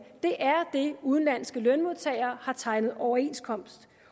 det er det udenlandske lønmodtagere har tegnet overenskomst